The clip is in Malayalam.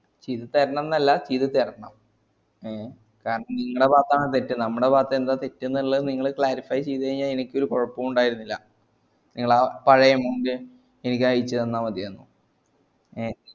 ചെയ്ത് തരണം എന്നല്ല ചെയ്ത് തരണം ഏ കാരണം നിങ്ങളെ ഭാഗത്താണ് തെറ്റ് ഞമ്മളെ ഭാഗത്ത് എന്താ തെറ്റ് നിള്ളത് നിങ്ങള് clarify ചെയ്ത് കയ്ഞാല് ഇനിക് ഒരു കൊയപ്പോണ്ടായനില്ല നിങ്ങളാ പഴയ amount ഇൻക് അയച്ചെന്നാ മതിയായ്ന്നു